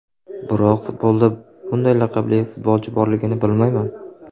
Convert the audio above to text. Biroq futbolda bunday laqabli futbolchi borligini bilmayman.